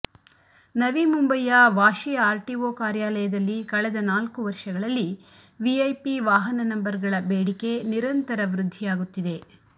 ನವಿಮುಂಬೈಯ Vashi RTO ಕಾರ್ಯಾಲಯದಲ್ಲಿ ಕಳೆದ ನಾಲ್ಕು ವರ್ಷಗಳಲ್ಲಿ ವಿಐಪಿ ವಾಹನ ನಂಬರ್ಗಳ ಬೇಡಿಕೆ ನಿರಂತರ ವೃದ್ಧಿಯಾಗುತ್ತಿದೆ